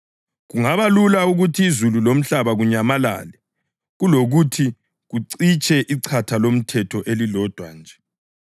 Kungaba lula ukuthi izulu lomhlaba kunyamalale kulokuthi kucitshe ichatha loMthetho elilodwa nje.